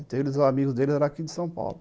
Então os amigos deles eram daqui de São Paulo.